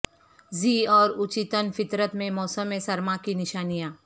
ذی اور اچیتن فطرت میں موسم سرما کی نشانیاں